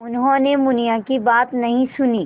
उन्होंने मुनिया की बात नहीं सुनी